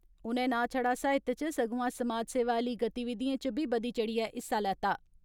उनें ना छड़ा साहित्य इच सगुआं समाज सेवा आली गतिविधिएं इच बी दी चढ़िए हिस्सा लैता।